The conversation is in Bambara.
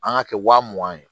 An ŋ'a kɛ wa mugan ye